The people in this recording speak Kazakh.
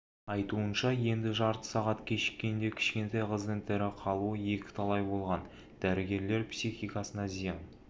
айтуынша енді жарты сағат кешіккенде кішкентай қыздың тірі қалуы екі талай болған дәрігерлер психикасына зиян